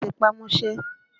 Ẹ tẹpá mọ́ṣẹ́!